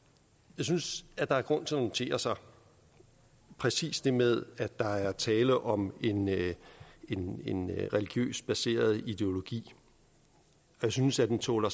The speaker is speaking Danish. jeg synes at der er grund til at notere sig præcis det med at der er tale om en religiøst baseret ideologi jeg synes at den tåler